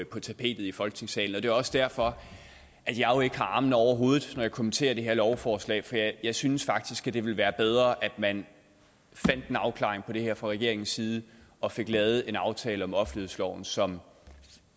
på tapetet i folketingssalen og det er også derfor jeg ikke har armene oppe over hovedet når jeg kommenterer det her lovforslag for jeg synes faktisk det ville være bedre at man fandt en afklaring på det her fra regeringens side og fik lavet en aftale om offentlighedsloven som